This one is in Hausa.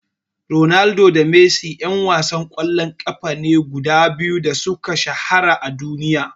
Ronaldo da Messi ƴan wasan ƙwallon ƙafa ne guda biyu da suka shahara a duniya.